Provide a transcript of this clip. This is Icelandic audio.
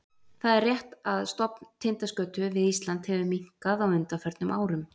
Það er rétt að stofn tindaskötu við Ísland hefur minnkað á undanförnum árum.